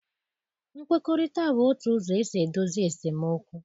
Nkwekọrịta bụ otu ụzọ esi edozi esemokwu.